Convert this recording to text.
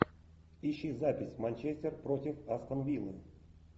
ищи запись манчестер против астон виллы